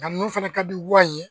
Nka ninnu fana ka di wa n ye